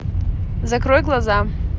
закрой глаза